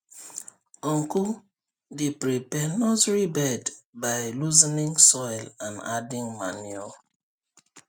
uncle dey prepare nursery bed by loosening soil and adding manure